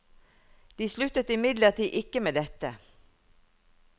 De sluttet imidlertid ikke med dette.